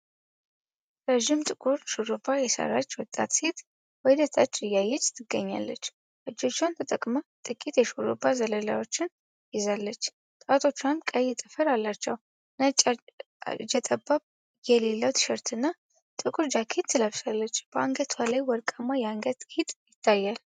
ረዥም ጥቁር ሹሩባ የሰራች ወጣት ሴት ወደ ታች እያየች ትገኛለች። እጆቿን ተጠቅማ ጥቂት የሹሩባ ዘለላዎችን ይዛለች፤ ጣቶቿም ቀይ ጥፍር አላቸው። ነጭ እጀጠባብ የሌለው ቲሸርትና ጥቁር ጃኬት ለብሳለች፤ በአንገቷ ላይም ወርቃማ የአንገት ጌጥ ይታያል።